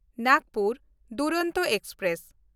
Nagpur Duronto express